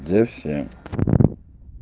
версия